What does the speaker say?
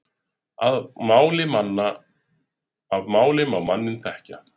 Af máli má manninn þekkja.